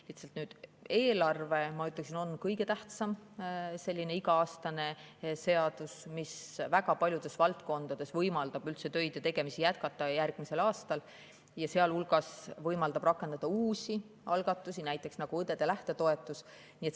Lihtsalt eelarve, ma ütleksin, on kõige tähtsam iga-aastane seadus, mis väga paljudes valdkondades võimaldab üldse järgmisel aastal töid ja tegemisi jätkata ning sealhulgas võimaldab rakendada uusi algatusi, näiteks nagu õdede lähtetoetus.